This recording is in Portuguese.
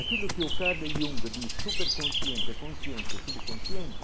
Aquilo que o Carlos diz, superconsciente, consciente, subconsciente,